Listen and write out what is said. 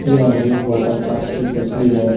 यह एक वाटरपार्क की तस्वीर है।